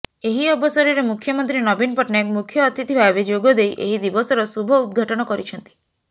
ଏହି ଅବସରରେ ମୁଖ୍ୟମନ୍ତ୍ରୀ ନବୀନ ପଟ୍ଟନାୟକ ମୁଖ୍ୟଅତିଥି ଭାବେ ଯୋଗଦେଇ ଏହି ଦିବସର ଶୁଭ ଉଦଘାଟନ କରିଛନ୍ତି